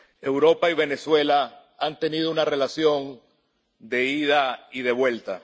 Europa y Venezuela han tenido una relación de ida y de vuelta.